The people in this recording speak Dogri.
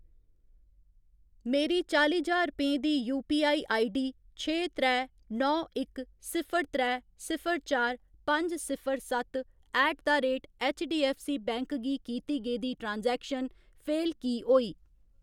मेरी चाली ज्हार रपेंऽ दी यूपीआई आईडी छे त्रै नौ इक सिफर त्रै सिफर चार पंज सिफर सत्त ऐट द रेट ऐच्चडीऐफ्फसीबैंक गी कीती गेदी ट्रांजैक्शन फेल की होई?